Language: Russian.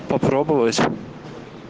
попробовать